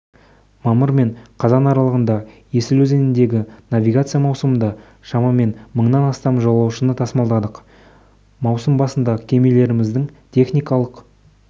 мамыр мен қазан аралығында есіл өзеніндегі навигация маусымында шамамен мыңнан астам жолаушыны тасымалдадық маусым басындакемелеріміздің техникалық